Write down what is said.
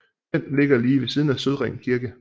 Den ligger lige ved siden af Sødring Kirke